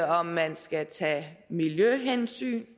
om man skal tage miljøhensyn